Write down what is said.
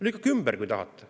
Lükake ümber, kui tahate.